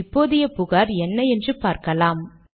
இப்போதைய புகார் என்ன என்று பார்க்கலாம்